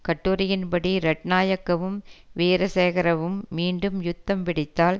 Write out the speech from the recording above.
கட்டுரையின் படி ரட்னாயக்கவும் வீரசேகரவும் மீண்டும் யுத்தம் வெடித்தால்